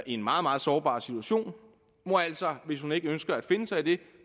i en meget meget sårbar situation må altså hvis hun ikke ønsker at finde sig i det